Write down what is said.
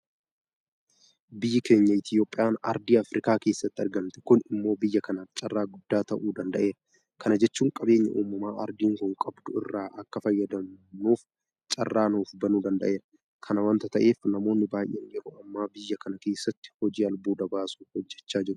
Biyyi keenya Itoophiyaan aardii afriikaa keessatti argamti. Kun immoo biyya kanaaf carraa guddaa ta'uu danda'eera. Kana jechuun qabeenya uumamaa aardiin kun qabdu irraa akka fayyadamnuuf carraa nuufbanuu danda'eera. Kana waanta ta'eef namoonni baay'een yeroo ammaa biyya kana keessatti hojii albuuda baasuu hojjechaa jiru.